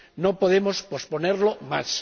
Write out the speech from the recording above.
No podemos posponerlo más.